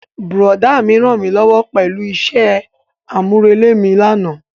Brọ̀dá mi rànmílówó pẹ̀lú isẹ́ àmúrelé mi lánàá.